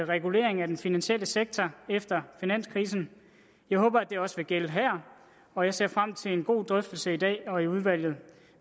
regulering af den finansielle sektor efter finanskrisen jeg håber at det også vil gælde her og jeg ser frem til en god drøftelse i dag og i udvalget